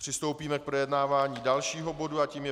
Přistoupíme k projednávání dalšího bodu a tím je